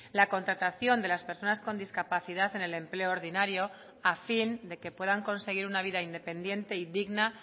la contratación de las personas con discapacidad en el empleo ordinario a fin de que puedan conseguir una vida independiente y digna